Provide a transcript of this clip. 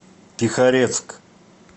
тихорецк